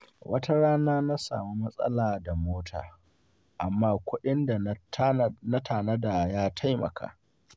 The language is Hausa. Wata rana na samu matsala da mota, amma kudin da na tanada ya taimaka.